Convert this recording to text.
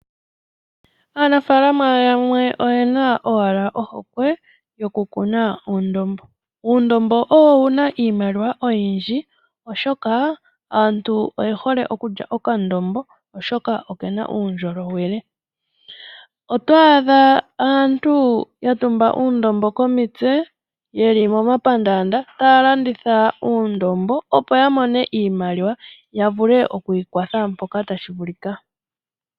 Aanafaalama yamwe oye na owala ohokwe yoku kuna uundombo. Uundombo owuna iimaliwa oyindji oshoka aantu oyendji oyehole okulya okandombo oshoka okena uundjolowele. Oto adha aantu yatumba uundombo komitse yeli momapandaanda taya landitha uundombo opo yamone iimaliwa vavule okwiikwatha mpoka tashi vulika.